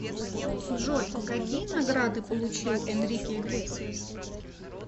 джой какие награды получил энрике иглесиас